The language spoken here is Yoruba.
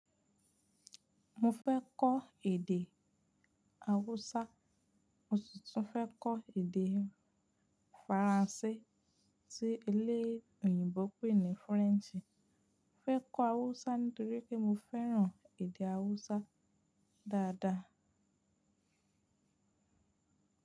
Mo fẹ́ kọ́ èdè Hausa, mo si tún fẹ́ kọ́ èdè Faransé tí eléyìíbo pè ní French. Mo fẹ́ kọ́ hausa nítorí pe mo fẹ́ràn èdè hausa dáadáa.